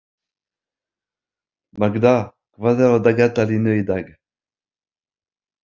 Magda, hvað er á dagatalinu í dag?